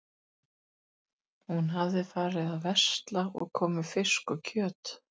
Hún hafði farið að versla og kom með fisk og kjöt.